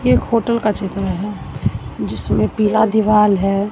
ये एक होटल का चित्र है जिसमें पीला दीवाल है।